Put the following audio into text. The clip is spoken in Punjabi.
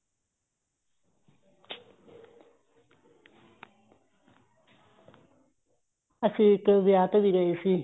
ਅਸੀਂ ਇੱਕ ਵਿਆਹ ਤੇ ਵੀ ਗਏ ਸੀ